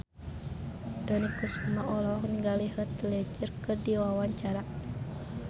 Dony Kesuma olohok ningali Heath Ledger keur diwawancara